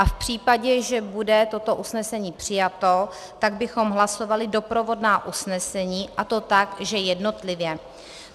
A v případě, že bude toto usnesení přijato, tak bychom hlasovali doprovodná usnesení, a to tak, že jednotlivě.